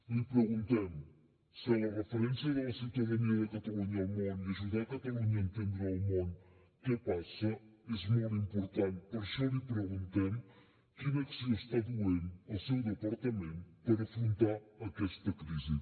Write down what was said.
li preguntem si la referència de la ciutadania de catalunya al món i ajudar catalunya a entendre el món què passa és molt important per això li preguntem quina acció està duent el seu departament per afrontar aquesta crisi